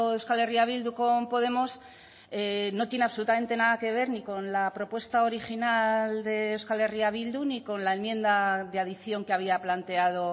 euskal herria bildu con podemos no tiene absolutamente nada que ver ni con la propuesta original de euskal herria bildu ni con la enmienda de adición que había planteado